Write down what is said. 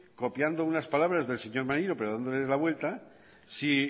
copiando unas palabras del señor maneiro pero dándole la vuelta si